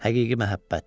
Həqiqi məhəbbət.